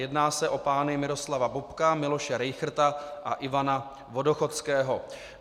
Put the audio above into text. Jedná se o pány Miroslava Bobka, Miloše Rejchrta a Ivana Vodochodského.